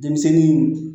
Denmisɛnnin